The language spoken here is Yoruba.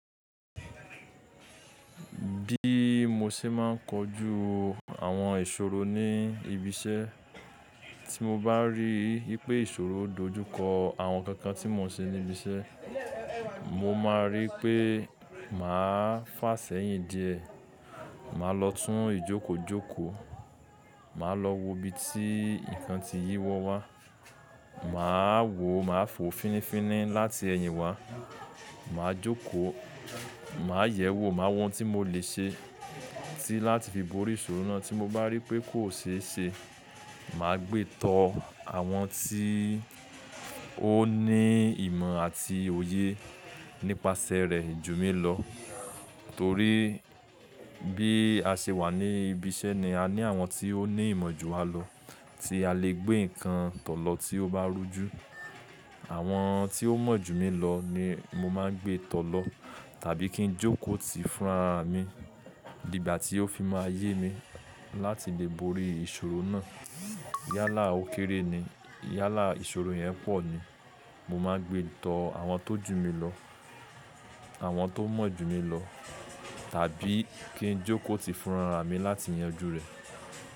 Bí mo ṣe máa ń kojú àwọn ìṣòro ní ibi iṣẹ́, tí mo bá ríi pé ìṣòro dojúkọ àwọn nkankan tí mo ń ṣe ní ibi iṣẹ́, mo máa rí pé màá fàá sẹ́yìn díẹ̀, màá lọ tún ìjókòjókò, màá lọ wo ibi tí nǹkan ti yí wọ́ wá, màá wò, màá fò fínifíní láti ẹyin wá, màá jókòó, màá yẹ̀wò, màá wo ohun tí mo lè ṣe láti fi borí ìṣòro náà. Tí mo bá rí pé kò ṣe é ṣe, màá gbé tọ àwọn tí ó ní ìmọ̀ àti òye nípasẹ̀ rẹ̀, jù mí lọ. Torí bí a ṣe wà ní ibi iṣẹ́ ni a ní àwọn tí ó ní ìmọ̀ ju wa lọ tí a lè gbé nǹkan tọ lọ tí ó bá rújú. Àwọn tí ó mọ̀ jù mí lọ ni mo máa ń gbé tọ lọ tàbí kí n jókòó ti fúnra mi dígbà tí ó fi máa yé mi láti lè borí ìṣòro náà. Yálà ó kéré ni, yálà ìṣòro yẹn pọ̀ ni, mo máa ń gbé tọ àwọn tó jù mí lọ, àwọn tó mọ̀ jù mí lọ tàbí kí n jókòó ti fúnra mi láti yanjú rẹ̀.